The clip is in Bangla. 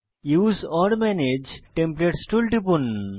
উসে ওর মানাগে টেমপ্লেটস টুলে টিপুন